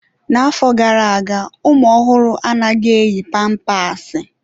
N'afọ gara aga, ụmụ ọhụrụ anaghị eyi pampasi.